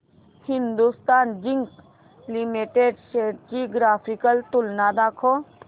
Hindustan zinc limited shares ची graphical तुलना दाखव